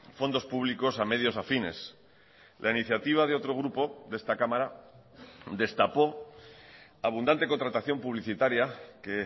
fondos públicos a medios afines la iniciativa de otro grupo de esta cámara destapó abundante contratación publicitaria que